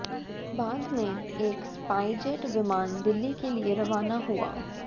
बाद में एक स्पाइसजेट विमान दिल्ली के लिए रवाना हुआ